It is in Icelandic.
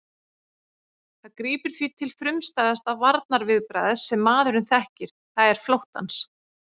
Það grípur því til frumstæðasta varnarviðbragðs sem maðurinn þekkir, það er flóttans.